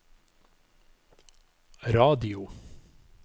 radio